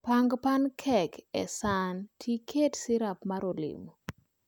Pang pancakes e san to iket sirap mar olemo